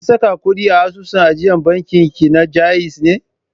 Kin saka ƙuɗi a asusun ajiyar bankin ki na Ja'iz ne?